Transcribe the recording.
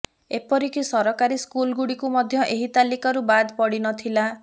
ଏପରିକି ସରକାରୀ ସ୍କୁଲ ଗୁଡ଼ିକୁ ମଧ୍ୟ ଏହି ତାଲିକାରୁ ବାଦ ପଡ଼ିନଥିଲା